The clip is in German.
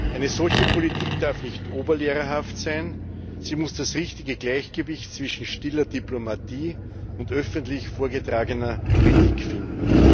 Eine solche Politik darf nicht oberlehrerhaft sein, sie muss das richtige Gleichgewicht zwischen stiller Diplomatie und öffentlich vorgetragener Kritik finden.